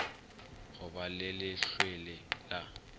go ba le lehlwele la